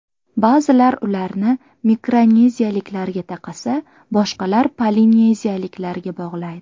Ba’zilar ularni mikroneziyaliklarga taqasa, boshqalar polineziyaliklarga bog‘laydi.